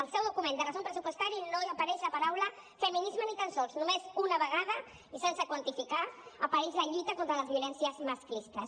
al seu document de resum pressupostari no hi apareix la paraula feminisme ni tan sols només una vegada i sense quantificar apareix la lluita contra les violències masclistes